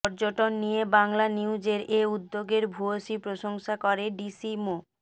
পর্যটন নিয়ে বাংলানিউজের এ উদ্যোগের ভূয়সী প্রশংসা করে ডিসি মো